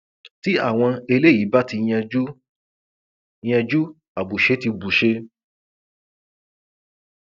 tí àwọn eléyìí bá ti yanjú yanjú àbùṣe ti bùṣe